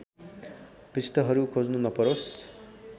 पृष्ठहरू खोज्नु नपरोस्